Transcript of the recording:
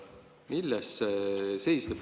Milles see seisneb?